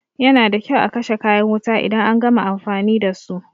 Yana da kyau a kashe kayan wuta idan an gama amfani dasu.